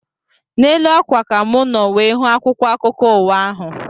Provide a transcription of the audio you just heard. N'elu ákwà ka mụ nọ wee hụ akwụkwọ akụkọ ụwa ahụ